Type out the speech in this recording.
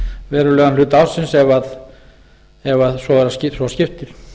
verulegan hluta ársins ef svo skiptir